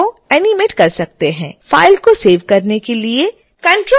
file को save करने के लिए ctrl और s कुंजी दबाएँ